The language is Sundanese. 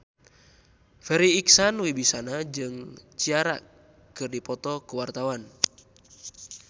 Farri Icksan Wibisana jeung Ciara keur dipoto ku wartawan